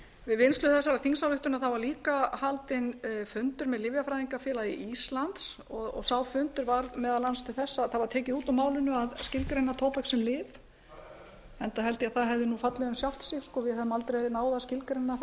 við vinnslu þessarar þingsályktunar var líka haldinn fundur með lyfjafræðingafélagi íslands sá fundur var meðal annars til þess að það var tekið út úr málinu að skilgreina tóbak sem lyf enda held ég að það hefði nú fallið um sjálft sig við hefðum aldrei ná að skilgreina